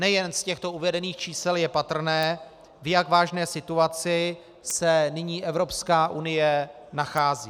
Nejen z těchto uvedených čísel je patrné, v jak vážné situaci se nyní Evropská unie nachází.